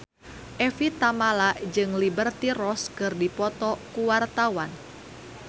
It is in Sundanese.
Evie Tamala jeung Liberty Ross keur dipoto ku wartawan